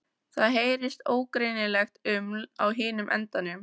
Það heyrist ógreinilegt uml á hinum endanum.